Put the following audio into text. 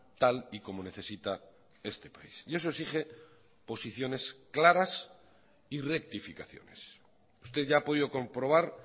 tal y como necesita este país y eso exige posiciones claras y rectificaciones usted ya ha podido comprobar